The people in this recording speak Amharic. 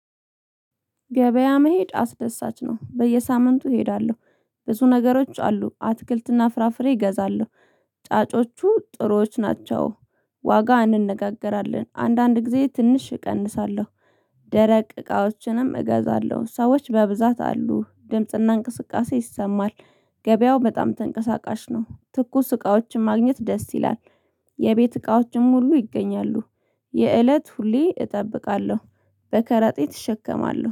ገበያ መሄድ አስደሳች ነው በየሳምንቱ እሄዳለሁ ብዙ ነገሮች አሉ አትክልትና ፍራፍሬ እገዛለሁ ጫጮቹ ጥሩዎች ናቸው ዋጋ እንነጋገራለን አንዳንድ ጊዜ ትንሽ እቀንሳለሁ። ደረቅ እቃዎችንም እገዛለሁ ሰዎች በብዛት አሉ ድምጽና እንቅስቃሴ ይሰማል። ገበያው በጣም ተንቀሳቃሽ ነው። ትኩስ እቃዎችን ማግኘት ደስ ይላል። የቤት እቃዎችም ሁሉ ይገኛሉ። የእለት ሁሌ እጠብቃለሁ። በከራጤ እሸከማለሁ